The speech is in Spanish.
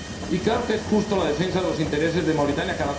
Y claro que es justa la defensa de los intereses de Mauritania.